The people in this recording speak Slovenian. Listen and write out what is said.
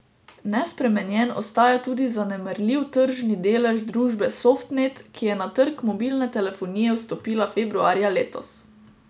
Nespremenjen ostaja tudi zanemarljiv tržni delež družbe Softnet, ki je na trg mobilne telefonije vstopila februarja letos.